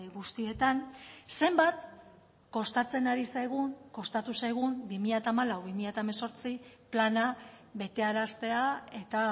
guztietan zenbat kostatzen ari zaigun kostatu zaigun bi mila hamalau bi mila hemezortzi plana betearaztea eta